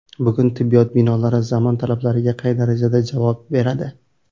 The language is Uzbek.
Bugun tibbiyot binolari zamon talablariga qay darajada javob beradi?..